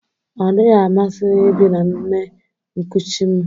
Ọ dịghị amasị m ibi na nne nkuchi m